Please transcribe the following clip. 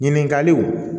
Ɲininkaliw